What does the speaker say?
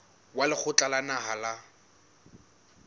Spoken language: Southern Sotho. wa lekgotla la naha la